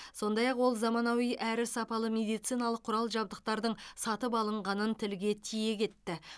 сондай ақ ол заманауи әрі сапалы медициналық құрал жабдықтардың сатып алынғанын тілге тиек етті